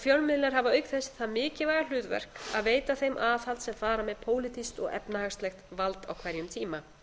fjölmiðlar hafa auk þess það mikilvæga hlutverk að veita þeim aðhald sem fara með pólitískt og efnahagsleg vald á hverjum tíma